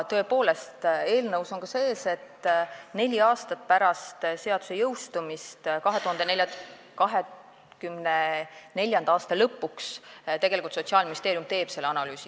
Tõepoolest, eelnõus on sees, et neli aastat pärast seaduse jõustumist, 2024. aasta lõpus, teeb Sotsiaalministeerium analüüsi.